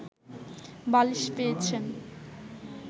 বালিশ পেয়েছেন